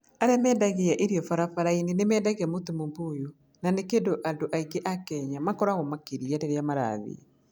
Arĩa marendagia irio barabara-inĩ nĩ mendagia mũtu mũbũyũ, na nĩ kĩndũ andũ aingĩ a Kenya makoragwo makĩrĩa rĩrĩa marathiĩ.